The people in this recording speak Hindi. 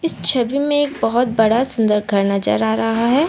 छवि में एक बहुत बड़ा सुंदर घर नजर आ रहा है।